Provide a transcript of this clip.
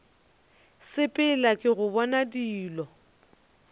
sepela ke go bona dilo